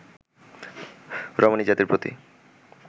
রমণীজাতির প্রতি